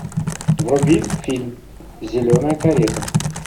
вруби фильм зеленая карета